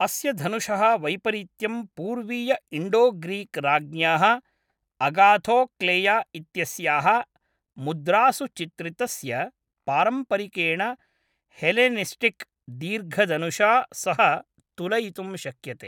अस्य धनुषः वैपरित्यं पूर्वीय इण्डोग्रीक् राज्ञ्याः अगाथोक्लेया इत्यस्याः मुद्रासु चित्रितस्य पारम्परिकेण हेलेनिस्टिक् दीर्घधनुषा सह तुलयितुं शक्यते।